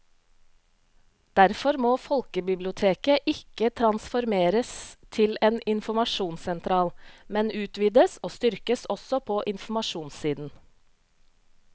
Derfor må folkebiblioteket ikke transformeres til en informasjonssentral, men utvides og styrkes også på informasjonssiden.